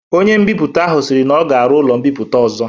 Ọnye mbiputa ahu sịrị n'ọ ga- arụ ụlo mbiputa ọzọ